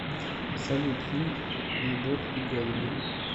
салют фильм любовь и голуби